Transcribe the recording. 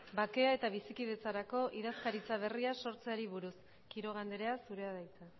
bake eta bizikidetzarako idazkaritza berria sortzeari buruz quiroga andrea zurea da hitza